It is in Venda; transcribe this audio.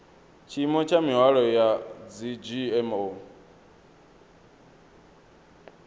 tshiimo tsha mihwalo ya dzgmo